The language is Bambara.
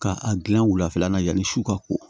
Ka a gilan wulafɛla la yanni su ka ko